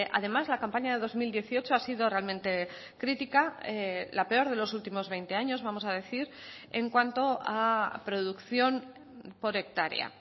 además la campaña de dos mil dieciocho ha sido realmente crítica la peor de los últimos veinte años vamos a decir en cuanto a producción por hectárea